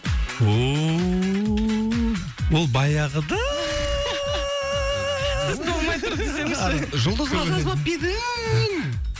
ооо ол баяғыда толмай тұр десеңізші жұлдызға жазбап па едің